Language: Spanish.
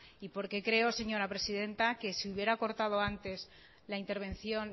y porque creo señora presidenta que si hubiera cortado antes la intervención